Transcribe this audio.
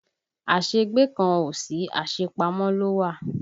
Áségbé kan ò sí, asepamo ló wà